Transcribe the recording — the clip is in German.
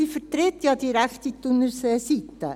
sie vertritt ja die rechte Thunerseeseite.